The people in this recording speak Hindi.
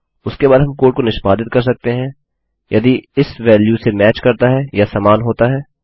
उसके बाद हम कोड को निष्पादित कर सकते हैं यदि यह इस वेल्यू से मैच करता है या समान होता है